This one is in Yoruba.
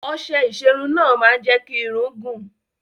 Ọṣẹ ìṣerun náà máa ń jẹ́ kí irun gùn.